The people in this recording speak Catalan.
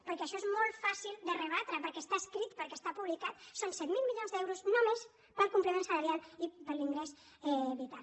perquè això és molt fàcil de rebatre perquè està escrit perquè està publicat són set mil milions d’euros només per al complement salarial i per a l’ingrés vital